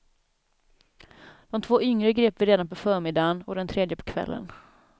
De två yngre grep vi redan på förmiddagen och den tredje på kvällen.